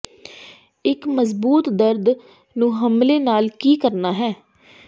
ਇੱਕ ਮਜ਼ਬੂਤ ਦਰਦ ਨੂੰ ਹਮਲੇ ਨਾਲ ਕੀ ਕਰਨਾ ਹੈ